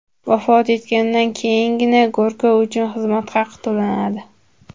Vafot etgandan keyingina go‘rkov uchun xizmat haqi to‘lanadi.